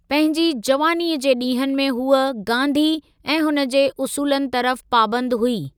पंहिंजी जवानीअ जे ॾींहनि में हूअ गांधी ऐं हुन जे उसूलनि तरफ़ पाबंद हुई।